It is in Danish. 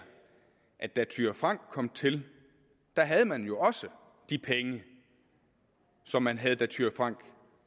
at da fru thyra frank kom til havde man jo også de penge som man havde da fru thyra frank